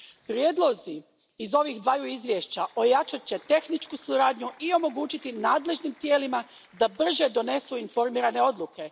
Prijedlozi iz ova dva izvješća ojačat će tehničku suradnju i omogućiti nadležnim tijelima da brže donesu informirane odluke.